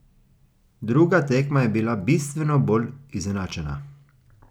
Druga tekma je bila bistveno bolj izenačena.